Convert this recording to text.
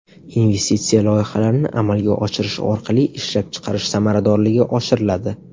Investitsiya loyihalarini amalga oshirish orqali ishlab chiqarish samaradorligi oshiriladi.